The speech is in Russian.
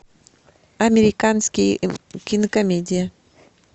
американские кинокомедии